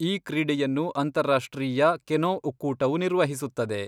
ಈ ಕ್ರೀಡೆಯನ್ನು ಅಂತರ್ರಾಷ್ಟ್ರೀಯ ಕೆನೊ ಒಕ್ಕೂಟವು ನಿರ್ವಹಿಸುತ್ತದೆ.